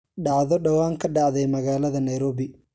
dhacdo dhawaan ka dhacday magaalada nairobi